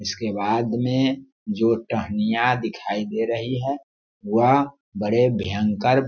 इसके बाद में जो टहनियां दिखाई दे रही है वह बड़े भयंकर --